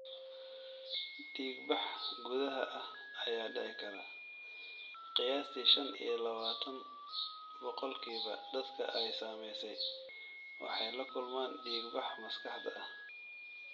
Dhiigbax gudaha ah ayaa dhici kara; Qiyaastii shan iyo labatan boqolkiiba dadka ay saamaysay waxay la kulmaan dhiigbax maskaxda ah.